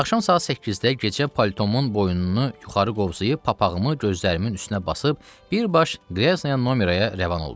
Axşam saat 8-də gecə paltomun boynunu yuxarı qovzayıb papağımı gözlərimin üstünə basıb birbaş Qraznaya nomeraya rəvan oldum.